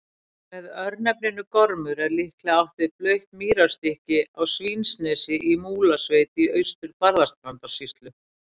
Með örnefninu Gormur er líklega átt við blautt mýrarstykki á Svínanesi í Múlasveit í Austur-Barðastrandarsýslu.